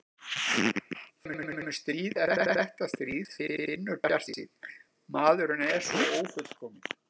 Það kemur stríð eftir þetta stríð, sagði Finnur bjartsýnn, maðurinn er svo ófullkominn.